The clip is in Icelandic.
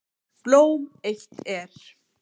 Blóm eitt er.